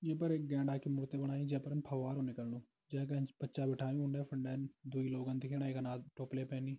ऐ पर एक गेंडा की मूर्ति बनाई जै पर फवारू निकलनु जै का ऐंच बच्चा बिठायुं ऊंडें फंडें दुई लोग अन दिखेणा एक टोपली पहनी।